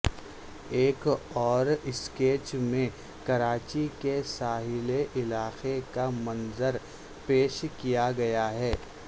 ایک اور اسکیچ میں کراچی کے ساحلی علاقے کا منظر پیش کیا گیا ہے